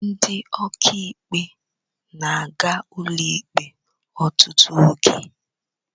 Ndị ọkà ikpe na-aga ụlọ ikpe ọtụtụ oge.